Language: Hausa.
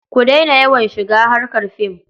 Ku daina yawan shiga harkar fim.